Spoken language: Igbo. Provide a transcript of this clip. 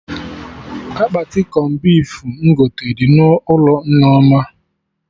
Akpati cọn beef m gote dị n'ụlọ Nneoma